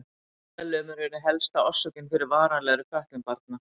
Heilalömun er ein helsta orsökin fyrir varanlegri fötlun barna.